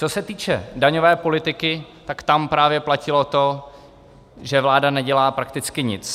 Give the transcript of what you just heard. Co se týče daňové politiky, tak tam právě platilo to, že vláda nedělá prakticky nic.